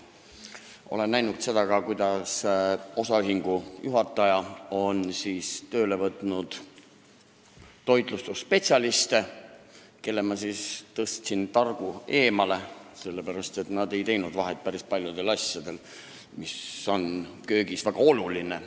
Olen näinud, kuidas osaühingu juht on tööle võtnud nn toitlustusspetsialiste, kelle ma ajasin targu eemale, sellepärast et nad ei teinud vahet päris paljudel asjadel, mis on köögis väga olulised.